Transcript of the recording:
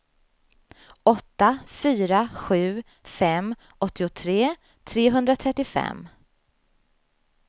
åtta fyra sju fem åttiotre trehundratrettiofem